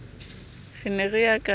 re ne re ya ka